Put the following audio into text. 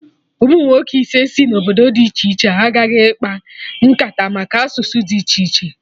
Umunwoke ise si obodo dị iche iche agaghị akpa nkata maka asụsụ dị iche iche